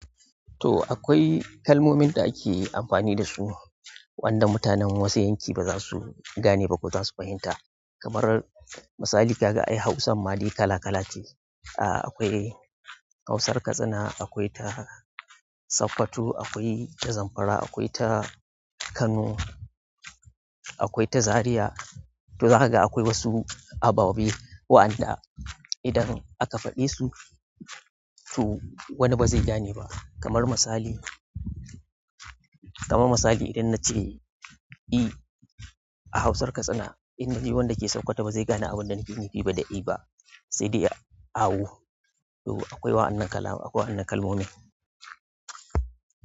To akwai kalmomin da ake amfani da su, wanda mutanen wasu yanki ba za su gane ba ko za su fahimta. Kamar misali kaga ai hausarma kala kala ce. Ah akwai Hausar Katsina, akwai ta Sokoto, akwai ta Zamfara, akwai ta Kano, akwai ta Zariya. To zakaga akwai wasu ababe waɗanda idan aka faɗi su, to wani ba zai gane ba. Kamar misali, kamar misali idan na ce "I" a Hausar Katsina, inda ni wanda ke saukata ba zai gane abin da nake nufi ba da "I" ba, sai dai ya awo. To akwai wa'annan kala, akwai wannan kalmomin.